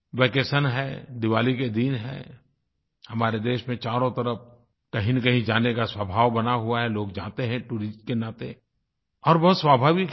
vacation है दिवाली के दिन है हमारे देश में चारों तरफ कहींनकहीं जाने का स्वभाव बना हुआ है लोग जाते हैं टूरिस्ट के नाते और बहुत स्वाभाविक है